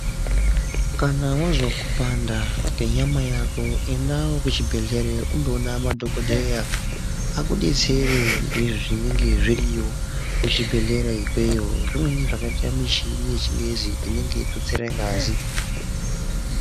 Kana wazwe kupanda kwenyama yako endawo kuchibhehlera undowone madhokodheya akudetsere ngezvinenga zviriyo kuchibhehlera ikweyo. Zvimweni zvakaita semichini yechingezi inenge yeitutsire ngazi.